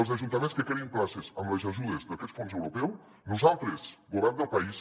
els ajuntaments que creïn places amb les ajudes d’aquest fons europeu nosaltres govern del país